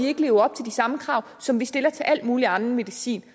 ikke leve op til de samme krav som vi stiller til alt mulig anden medicin